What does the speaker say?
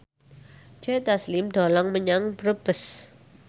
Joe Taslim dolan menyang Brebes